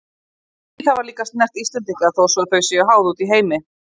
Stríð hafa líka snert Íslendinga þó svo að þau séu háð úti í heimi.